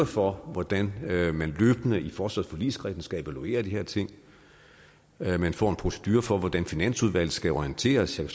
for hvordan man i forsvarsforligskredsen løbende skal evaluere de her ting og at man får en procedure for hvordan finansudvalget skal orienteres jeg